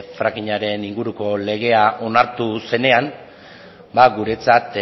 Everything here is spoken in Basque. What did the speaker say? frackingaren inguruko legea onartu zenean ba guretzat